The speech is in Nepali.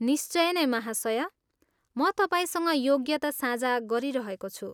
निश्चय नै, महाशया! म तपाईँसँग योग्यता साझा गरिरहेको छु।